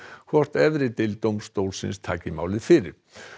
hvort efri deild dómstólsins taki málið fyrir